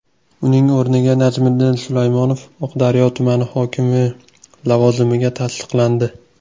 Uning o‘rniga Najmiddin Sulaymonov Oqdaryo tumani hokimi lavozimiga tasdiqlandi.